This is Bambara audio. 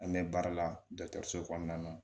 An bɛ baara la so kɔnɔna na